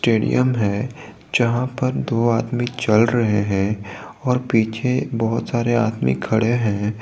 Stadium है जहां पर दो आदमी चल रहे हैं और पीछे बहोत सारे आदमी खड़े हैं।